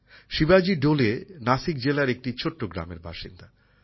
শিবাজী ডোলে নাসিক জেলার একটি ছোট্ট গ্রামের বাসিন্দা